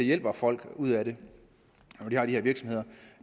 hjælper folk ud af det når de har de virksomheder